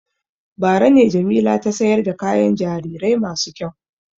Bara ne Jamila ta sayar da kayan jarirai masu kyau.